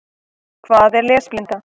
Hvað er lesblinda?